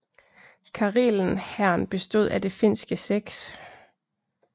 Karelen Hæren bestod af det finske 6